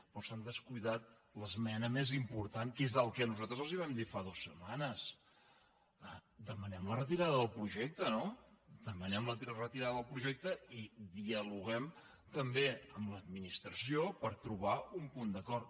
però s’han descuidat l’esmena més important que és el que nosaltres els vam dir fa dues setmanes demanem la retirada del projecte no demanem la re·tirada del projecte i dialoguem també amb l’adminis·tració per trobar un punt d’acord